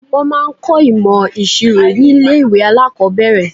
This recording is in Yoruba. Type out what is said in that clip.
Wọ́n máa ń kọ́ ìmọ̀ ìṣirò ní ilé ìwé alákọ̀ọ́bẹ̀rẹ̀.